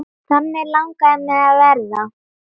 Þannig langaði mig að verða.